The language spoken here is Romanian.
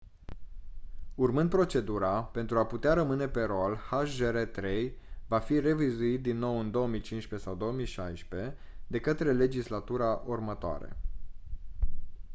urmând procedura pentru a putea rămâne pe rol hjr-3 va fi revizuit din nou în 2015 sau 2016 de către legislatura următoare